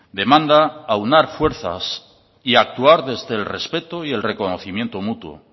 demanda aunar fuerzas y actuar desde el respeto y el reconocimiento mutuo